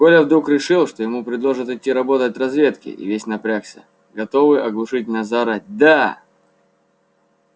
коля вдруг решил что ему предложат идти работать в разведке и весь напрягся готовый оглушительно заорать да